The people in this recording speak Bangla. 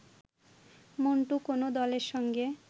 মন্টু কোনো দলের সঙ্গে